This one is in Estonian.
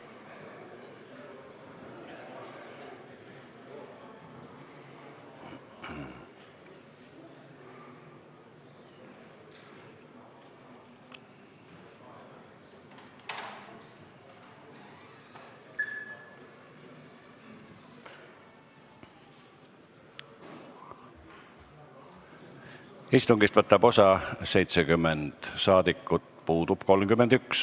Kohaloleku kontroll Istungist võtab osa 70 saadikut, puudub 31.